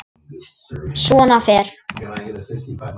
Svona fer.